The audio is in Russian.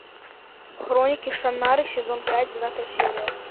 хроники шаннары сезон пять девятая серия